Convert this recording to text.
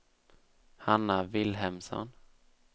Hanna Vilhelmsson